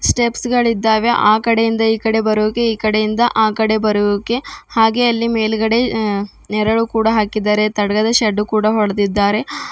ಸ್ಟೆಪ್ಸ್ಗ ಳಿದ್ದಾವೆ ಆ ಕಡೆಯಿಂದ ಈ ಕಡೆ ಬರೋಕೆ ಈ ಕಡೆಯಿಂದ ಆ ಕಡೆ ಬರೋಕೆ ಹಾಗೆ ಅಲ್ಲಿ ಮೇಲ್ಗಡೆ ಅ ನೆರಳು ಕೂಡ ಹಾಕಿದರೆ ತಡಗದ ಶೆಡ್ಡು ಕೂಡ ಹೊಡೆದಿದ್ದಾರೆ.